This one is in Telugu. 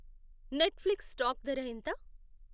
నెట్ఫ్లిక్స్ స్టాక్ ధర ఎంత